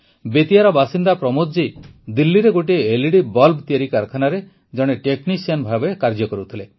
ବେତିଆର ବାସିନ୍ଦା ପ୍ରମୋଦ ଜୀ ଦିଲ୍ଲୀରେ ଗୋଟିଏ ଏଲଇଡି ବଲ୍ବ ତିଆରି କାରଖାନାରେ ଜଣେ ଟେକ୍ନିସିଆନ ଭାବେ କାର୍ଯ୍ୟ କରୁଥିଲେ